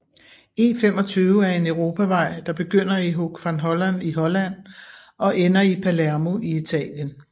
E25 er en europavej der begynder i Hoek van Holland i Holland og ender i Palermo i Italien